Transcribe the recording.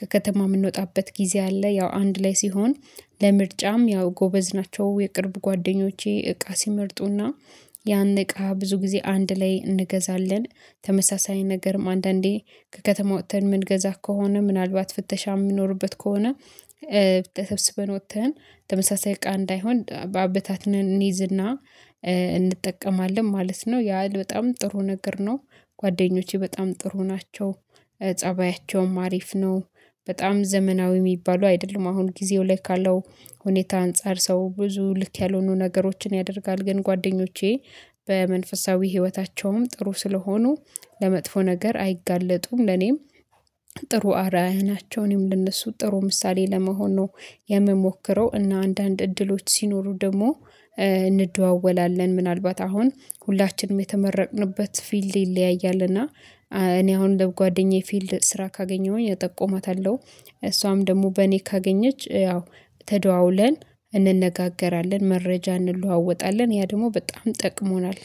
ከከተማ እምንወጣበት ጊዜ አለ። ያው አንድ ላይ ሲሆን ለምርጫም ያው ጎበዝ ናቸው የቅርብ ጓደኞቼ እቃ ሲመርጡና ያን እቃ ብዙ ጊዜ አንድ ላይ እንገዛለን። ተመሳሳይ ነገርም አንዳንዴ ከከተማ ወጥተን እምንገዛ ከሆነ ምናልባት ፍተሻ እሚኖርበት ከሆነ ተብስበን ወጥተን ተመሳሳይ እቃ እንዳይሆን በአበታትነን እንይዝና እንጠቀማለን ማለት ነው ያ በጣም ጥሩ ነገር ነው። ጓደኞቼ በጣም ጥሩ ናቸው። ፀባያቸውም አሪፍ ነው በጣም ዘመናዊ እሚባሉ አይደሉም አሁን ጊዜው ላይ ካለው ሁኔታ አንፃር ሰው ብዙ ልክ ያልሆኑ ነገሮችን ያደርጋል። ግን ጓደኞቼ በመንፈሳዊ ህይወታቸውም ጥሩ ስለሆኑ ለመጥፎ ነገር አይጋለጡም። ለኔም ጥሩ አራያ ናቸው አኔም ለእነሱ ጥሩ ምሳሌ ለመሆን ነው የምሞክረው። እና አንዳንድ እድሎች ሲኖሩ ደግሞ እንደዋወላለን ምናልባት አሁን ሁላችንም የተመረቅንበት ፊልድ ይለያያል። እና እኔ አሁን ለጓደኛዬ ፊልድ ስራ ካገኘሁኝ እጠቁማታለሁ። እሷም ደግሞ በእኔ ካገኘች ያው ተደዋውለን እንነጋገራለን መረጃ እንለዋወጣለን ያ ደሞ በጣም ጠቅሞናል